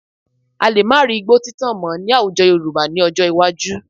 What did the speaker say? A lè má rí igbó títàn mọ́ ní àwùjọ Yorùbá ní ọjọ́ iwájú